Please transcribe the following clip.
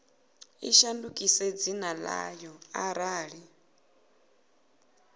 i shandukise dzina ḽayo arali